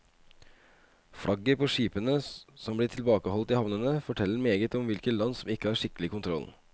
Flagget på skipene som blir tilbakeholdt i havnene forteller meget om hvilke land som ikke har skikkelig kontroll.